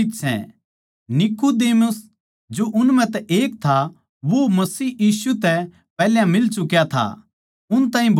नीकुदेमुस जो उन म्ह तै एक था वो मसीह यीशु तै पैहल्या मिल चुका था उन ताहीं बोल्या